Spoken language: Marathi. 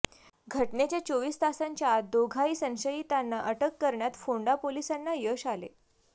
घटनेच्या चोवीस तासांच्या आंत दोघाही संशयितांना अटक करण्यात फोंडा पोलिसांना यश आले